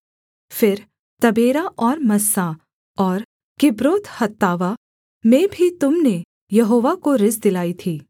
फिर तबेरा और मस्सा और किब्रोतहत्तावा में भी तुम ने यहोवा को रिस दिलाई थी